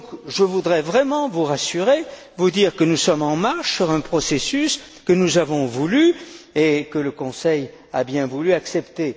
Je voudrais donc vraiment vous rassurer, vous dire que nous sommes en marche dans un processus que nous avons voulu et que le Conseil a bien voulu accepter.